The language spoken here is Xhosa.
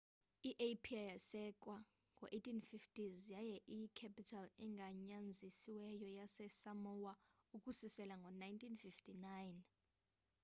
i apia yasekwa ngo 1850s yaye iyi capital egunyazisiweyo yase of samoa ukususela ngo 1959